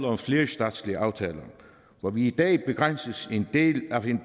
om flerstatslige aftaler hvor vi i dag begrænses af en